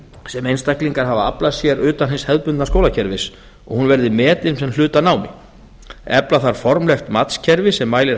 sem einstaklingar hafa aflað sér utan hins hefðbundna skólakerfis og hún verði metin sem hluti af námi efla þarf formlegt matskerfi sem mælir